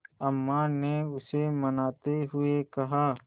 अम्मा ने उसे मनाते हुए कहा